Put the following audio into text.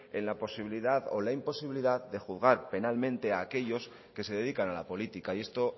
en la posibilidad o la imposibilidad de juzgar penalmente a aquellos que se dedican a la política y esto